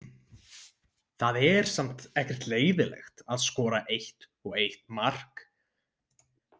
Það er samt ekkert leiðinlegt að skora eitt og eitt mark.